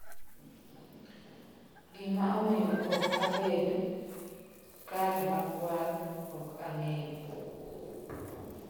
"""Gimomiyo ok abed (kadi makwar) ok ang'eyo."